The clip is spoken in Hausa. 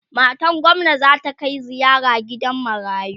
matan gwamna zata Kai ziyara gidan marayu